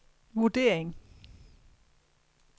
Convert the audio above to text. vurdering